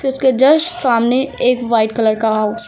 फि उसके जस्ट सामने एक व्हाइट कलर का हाउस --